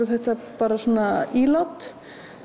þetta bara svona ílát